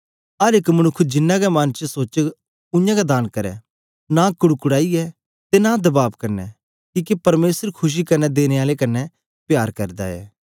अर एक मनुक्ख जिन्ना गै मन च सोचग उयांगै दान करै नां कुड़कूड़ाइयै ते नां दबाब कन्ने किके परमेसर खुशी कन्ने देने आलें कन्ने प्यार करदा ऐ